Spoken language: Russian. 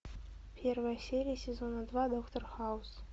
первая серия сезона два доктор хаус